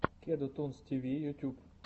кеду тунс тв ютуб